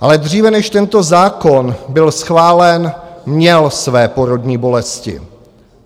Ale dříve, než tento zákon byl schválen, měl své porodní bolesti.